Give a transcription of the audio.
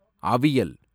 அவியல்